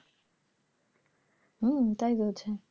হম তাই হয়েছে,